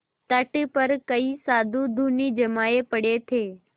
तट पर कई साधु धूनी जमाये पड़े थे